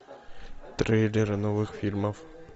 трейлеры новых фильмов